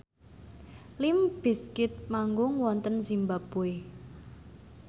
limp bizkit manggung wonten zimbabwe